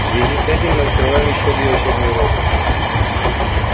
в связи с этим мы открываем ещё две учебные роты